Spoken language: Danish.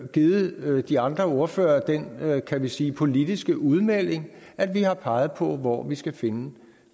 givet de andre ordførere den kan vi sige politiske udmelding at vi har peget på hvor vi skal finde